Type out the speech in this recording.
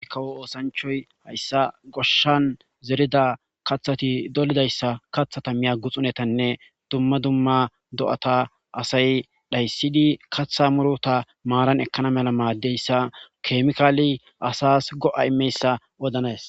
Kawo osanchoyi haysa goshani zerida kathati kathata Miya guxunetanne dumma dumma do'ata dhayisidi katha muruta marani ekana mala madiyaysa kemikaleyi asasi go'a imiyayisa odanisi.